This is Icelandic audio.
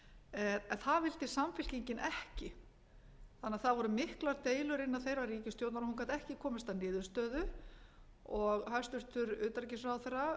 það vildi samfylkingin ekki það voru því miklar deilur innan þeirrar ríkisstjórnar og hún gat ekki komist að niðurstöðu og hæstvirtur utanríkisráðherra